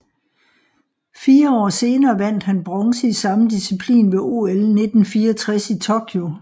Fire år senere vandt han bronze i samme disciplin ved OL 1964 i Tokyo